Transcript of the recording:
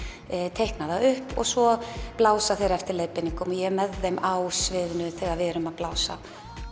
teikna það upp og svo blása þeir eftir leiðbeiningum og ég er með þeim á sviðinu þegar við erum að blása